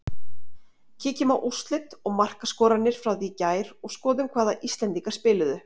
Kíkjum á úrslit og markaskorarana frá því í gær og skoðum hvaða Íslendingar spiluðu.